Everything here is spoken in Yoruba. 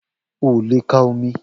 O le ka omi